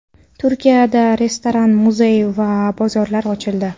Turkiyada restoran, muzey va bozorlar ochildi.